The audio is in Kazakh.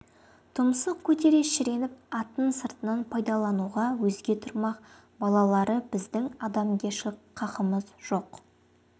тұмсық көтере шіреніп атын сыртынан пайдалануға өзге тұрмақ балалары біздің адамгершілік қақымыз жоқ